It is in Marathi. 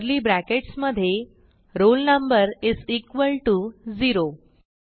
कर्ली ब्रॅकेट्स मधे roll number is equal to 0